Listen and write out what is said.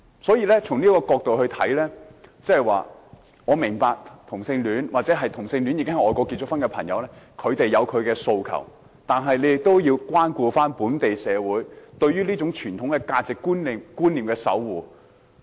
所以，從這個角度來看，我明白同性戀者，或已在外國結婚的同性戀者有自己的訴求，但他們也要關顧本地社會對於傳統價值觀念的守護。